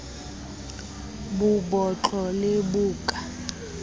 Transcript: bo botlo le bo ka